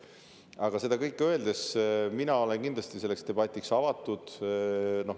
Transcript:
Aga seda kõike öeldes mina olen kindlasti selleteemaliseks debatiks avatud.